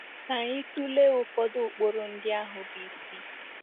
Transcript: Ka anyị tụlee ụfọdụ ụkpụrụ ndị ahụ bụ́ isi.